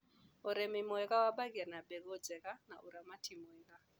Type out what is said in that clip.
ũrĩmi mwega wambagia na mbegũ njega na ũramati mwega.